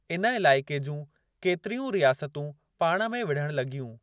इन इलााइके जूं केतिरियुनि रियासतूं पाण में विढ़ण लॻियूं।